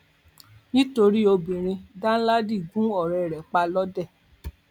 nítorí obìnrin danladi gún ọrẹ rẹ pa lọdẹ